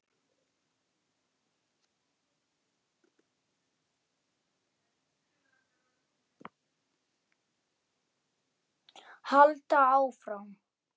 Halda áfram.